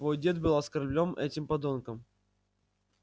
твой дед был оскорблён этим подонком